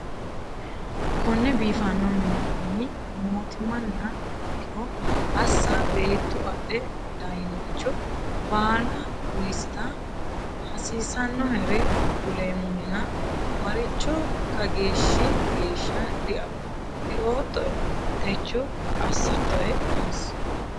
“Konne biifano mini mootimaniha ikkiro assa beettu adhe daynoricho baala uysita, hasiissannohere kuleemmohena maricho “Kageeshshi geeshsha dioottoe, techo assattoe?” yiisi.